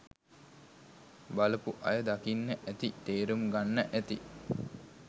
බලපු අය දකින්න ඇති තේරුම් ගන්න ඇති